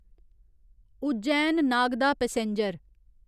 Ujjain Nagda passenger